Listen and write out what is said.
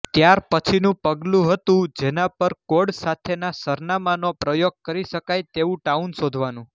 ત્યાર પછીનું પગલું હતું જેના પર કોડ સાથેના સરનામાનો પ્રયોગ કરી શકાય તેવું ટાઉન શોધવાનું